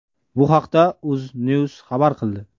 Bu haqda UzNews xabar qildi .